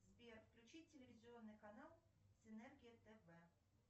сбер включи телевизионный канал синергия тв